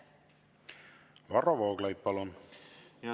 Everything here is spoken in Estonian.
Varro Vooglaid, palun!